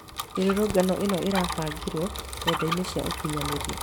Mĩrũrũngano ĩno ĩrabangĩrwo nendainĩ cia ũkinyanĩria